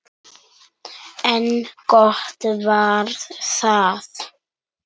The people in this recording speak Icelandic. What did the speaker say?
En gott var það.